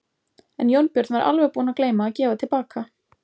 En Jónbjörn var alveg búinn að gleyma að gefa til baka.